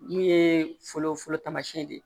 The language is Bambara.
Mun ye foro taamasiyɛn de ye